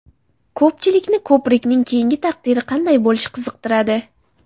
Ko‘pchilikni ko‘prikning keyingi taqdiri qanday bo‘lishi qiziqtiradi.